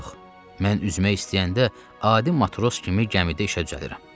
Yox, mən üzmək istəyəndə adi matros kimi gəmidə işə düzəlirəm.